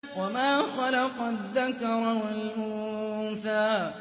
وَمَا خَلَقَ الذَّكَرَ وَالْأُنثَىٰ